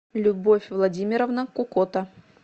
любовь владимировна кукота